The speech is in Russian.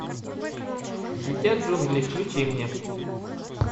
дитя джунглей включи мне